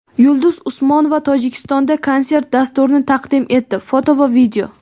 Yulduz Usmonova Tojikistonda konsert dasturini taqdim etdi (foto va video).